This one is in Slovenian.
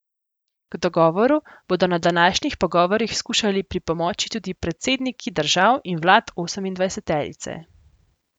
K dogovoru bodo na današnjih pogovorih skušali pripomoči tudi predsedniki držav in vlad osemindvajseterice.